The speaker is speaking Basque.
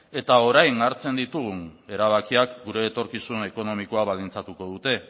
eta orain hartzen ditugun erabakiak gure etorkizun ekonomikoa baldintzatuko dute